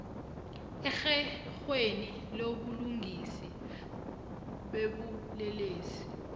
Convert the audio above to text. erherhweni lobulungiswa bobulelesi